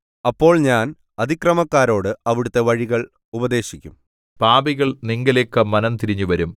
അപ്പോൾ ഞാൻ അതിക്രമക്കാരോട് അവിടുത്തെ വഴികൾ ഉപദേശിക്കും പാപികൾ നിങ്കലേക്ക് മനം തിരിഞ്ഞുവരും